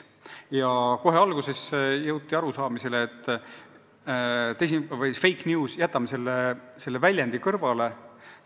Kohe alguses jõuti seisukohale, et jätame selle fake news'i väljendi kõrvale.